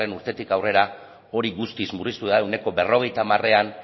urtetik aurrera hori guztiz murriztu da ehuneko berrogeita hamarean